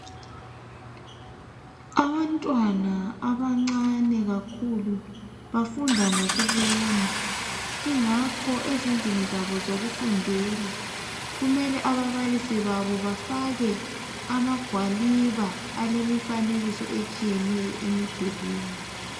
Abantwana abancane kakhulu bafunda ngokubona ingakho ezindlini zabo zokufundela kumele ababalisi babo bafake amagwaliba alemifanekiso etshiyeneyo emidulwini